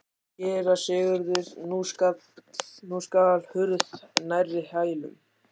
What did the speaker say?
SÉRA SIGURÐUR: Nú skall hurð nærri hælum.